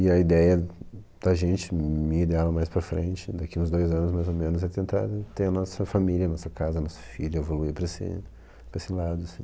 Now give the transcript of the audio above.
E a ideia da gente, minha ideia mais para frente, daqui uns dois anos, mais ou menos, é tentar ter a nossa família, nossa casa, nosso filho, evoluir para esse para esse lado, assim.